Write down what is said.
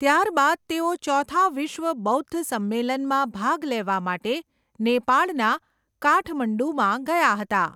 ત્યારબાદ તેઓ ચોથા વિશ્વ બૌદ્ધ સંમેલનમાં ભાગ લેવા માટે નેપાળના કાઠમંડુમાં ગયા હતા.